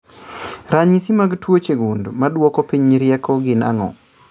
Ranyisi mag tuoche gund maduoko piny rieko gin ang'o?